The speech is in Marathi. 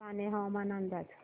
कान्हे हवामान अंदाज